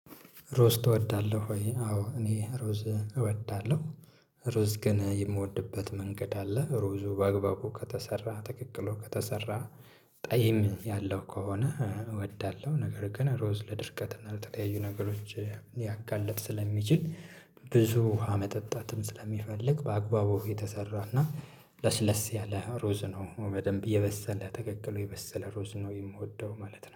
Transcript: ሮዝ ትወዳለሁ ወይ? አዎ እኔ ሮዝ እወዳለሁ ሮዝ ግን የምወድበት መንገድ አለ ሮዙ ባግባቡ ከተሰራ ተቀቅሎ ከተሰራ ጠይም ያለው ከሆነ እወዳለሁ ነገር ግን ሮዝ ለድርቀት እና ለተለያዩ ነገሮች ሊያጋልጥ ስለሚችል ብዙ ውሃ መጠጣትም ስለሚፈልግ በአግባቡ የተሰራና ለስለስ ያለ ሮዝ ነው በደንብ የበሰለ ተቀቅሎ የበሰለ ሮዝ ነው የምወደው ማለት ነው።